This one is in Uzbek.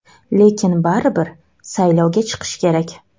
Lekin baribir saylovga chiqish kerak.